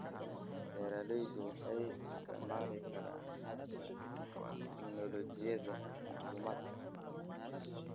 Beeraleydu waxay isticmaali karaan hababka tignoolajiyada macluumaadka.